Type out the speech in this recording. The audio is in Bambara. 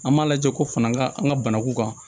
An m'a lajɛ ko fana ka an ka banaku kan